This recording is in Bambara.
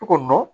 Cogomin na